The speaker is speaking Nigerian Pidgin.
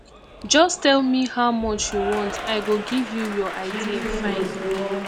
just tell me how much you want i go give you your idea fine